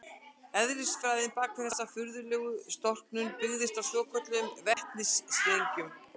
Eðlisfræðin bak við þessa furðulegu storknun byggist á svokölluðum vetnistengjum.